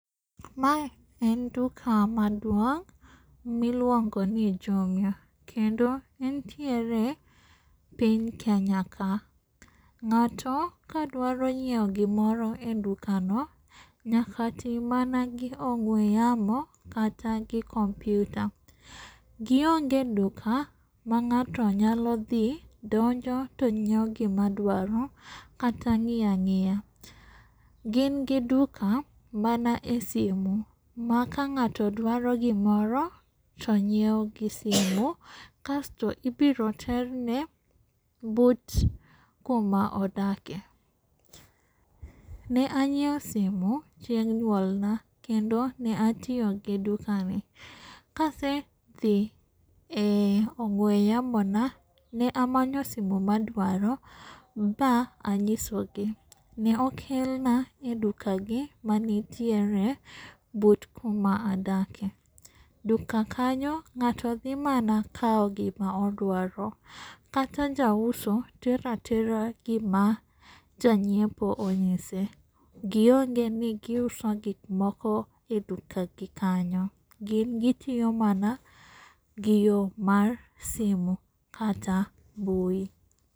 Mae en duka maduong' miluongoni jumuia. Kendo entiere epiny kenya ka. Ng'ato ka dwaro nyiewo gimoro edukano nyaka ti mana gi ong'we yamo kata gi kompyuta. Gi onge duka ma ng'ato nyalo dhi donjo to nyiewo gima dwaro kata ng'iya ang'iya. Gin gi duka mana esimu ma ka ng'ato dwaro gimoro to nyiewo gi simu kasto ibiro terne but kuma odake. Ne anyiewo simu chieng' nyuolna kendo ne atiyo gi dukani. Kasedhi e ong'we yamona ne amanyo simu ma adwaro ba anyisogi. Ne okelna edukagi manitiere but kuma adake. Duka kanyo ng'ato dhi mana kawo gima odwaro. Kata jauso tero atera gima janyiepo onyise. Giongeni giuso gik moko edukagi kanyo. Gin gitiyo mana gi yoo mar simu kata mbui.